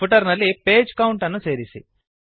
footer ನಲ್ಲಿ page count ಅನ್ನು ಸೇರಿಸಿ